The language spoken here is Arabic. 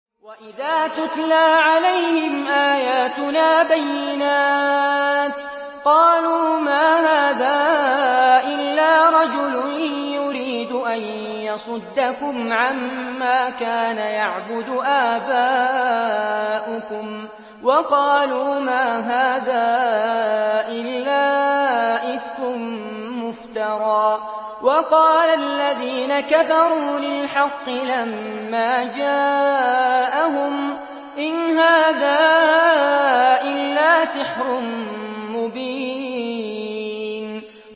وَإِذَا تُتْلَىٰ عَلَيْهِمْ آيَاتُنَا بَيِّنَاتٍ قَالُوا مَا هَٰذَا إِلَّا رَجُلٌ يُرِيدُ أَن يَصُدَّكُمْ عَمَّا كَانَ يَعْبُدُ آبَاؤُكُمْ وَقَالُوا مَا هَٰذَا إِلَّا إِفْكٌ مُّفْتَرًى ۚ وَقَالَ الَّذِينَ كَفَرُوا لِلْحَقِّ لَمَّا جَاءَهُمْ إِنْ هَٰذَا إِلَّا سِحْرٌ مُّبِينٌ